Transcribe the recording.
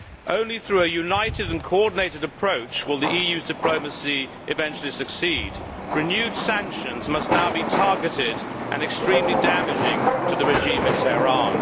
Only through a united and coordinated approach will the EU's diplomacy eventually succeed. Renewed sanctions must now be targeted and must be extremely damaging to the regime in Tehran.